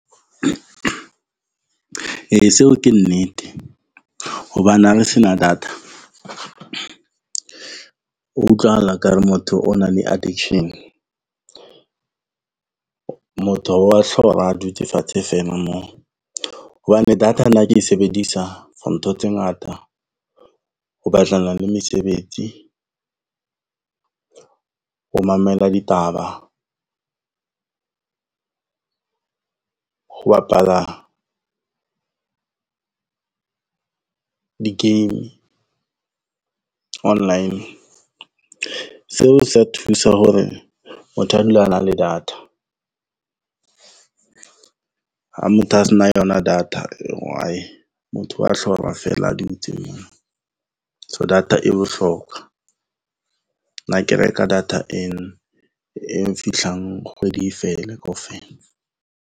E, seo ke nnete hobane ha re se na data utlwahala ekare motho o nang le addiction. Motho wa hlora a dutse fatshe feela moo, hobane data nna ke e sebedisa for ntho tse ngata ho batlana le mesebetsi. Ho mamela ditaba ho bapala di-game online. Seo sa thusa hore motho a dula a na le data ha motho a se na yona data, motho wa hlora fela a dutse moo. So, data e bohlokwa. Nna ke reka data e nfitlhang kgwedi e fele kaofela.